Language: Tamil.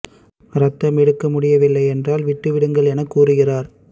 ரத்தம் எடுக்க முடிய வில்லை என்றால் விட்டுவிடுங்கள் என கூறுகிறார்